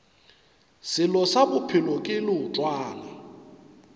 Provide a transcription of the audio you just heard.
selo se bophelo ke leotwana